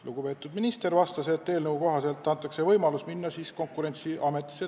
Lugupeetud minister vastas, et eelnõu kohaselt antakse võimalus vaidlustada tariifid Konkurentsiametis.